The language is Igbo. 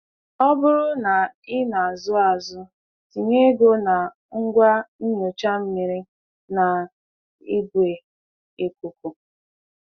Ọ bụrụ na ị na-azụ azụ, tinye ego na ngwa inyocha mmiri na igwe ikuku.